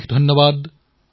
অশেষ ধন্যবাদ